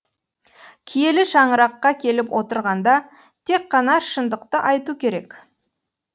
киелі шаңыраққа келіп отырғанда тек қана шындықты айту керек